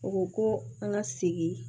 U ko ko an ka segin